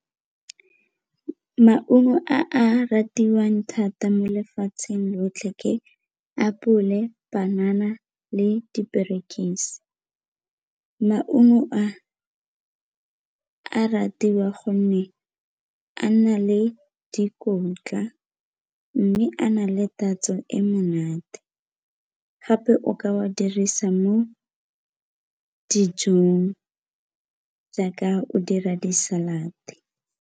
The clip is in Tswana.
Maungo a a ratiwang thata mo lefatsheng lotlhe ke apole, banana le diperekise. Maungo a a ratiwa gonne a na le dikotla mme a na le tatso e monate gape o ka wa dirisa mo dijong jaaka o dira di-salad-e.